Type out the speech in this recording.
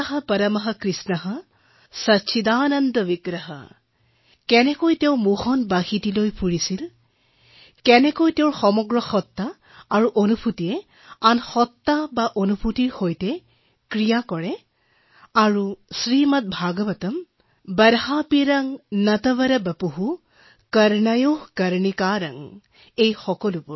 ईश्वर परम कृष्ण सच्चिदानन्द विग्रह কিদৰে তেওঁ বাঁহীটো ধৰে কেনেদৰে তেওঁৰ ইন্দ্ৰিয়ই অন্যান্য ইন্দ্ৰিয়ৰ ঊৰ্ধত কাম কৰে আৰু শ্ৰীমদ ভাগৱতম টিচিআৰ ৯০৯ बर्हापींड नटवरवपुः कर्णयो कर्णिकारं সকলো